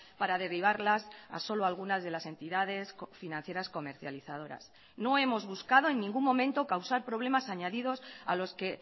para derivarlas a solo algunas de las entidades financieras comercializadoras no hemos buscado en ningún momento causar problemas añadidos a los que